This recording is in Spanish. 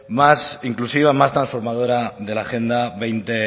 más inclusiva más transformadora de la agenda veinte